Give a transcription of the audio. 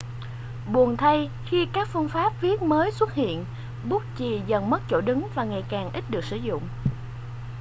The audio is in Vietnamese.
buồn thay khi các phương pháp viết mới xuất hiện bút chì dần mất chỗ đứng và ngày càng ít được sử dụng